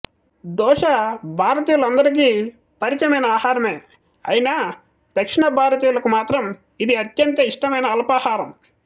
దోశ భారతీయులకు అందరికీ పరిచయమైన అహారమే అయినా దక్షిణ భారతీయులకు మాత్రం ఇది అత్యంత ఇష్టమైన అల్పాహారం